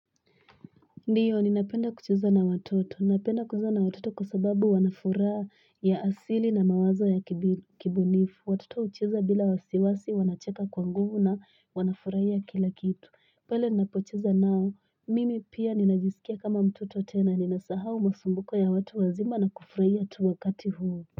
Ndiyo ninapenda kucheza na watoto, ninapenda kucheza na watoto kwa sababu wanafuraa ya asili na mawazo ya kibunifu, watoto hucheza bila wasiwasi wanacheka kwa nguvu na wanafuraia kila kitu, pele ninapocheza nao, mimi pia ninajisikia kama mtoto tena, ninasahau masumbuko ya watu wazima na kufuraia tu wakati huu.